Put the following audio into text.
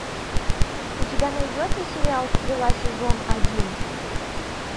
у тебя найдется сериал стрела сезон один